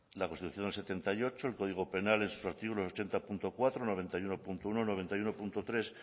la constitución del setenta y ocho el código penal en sus artículos ochenta punto cuatro noventa y uno punto uno noventa y uno punto tres